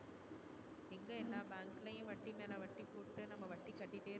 எங்க எல்லா bank லையும் வட்டி மேல வட்டி போட்டு நம்ம வட்டி கட்டிட்டே இருக்கோம்.